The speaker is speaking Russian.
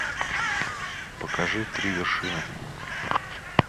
покажи три вершины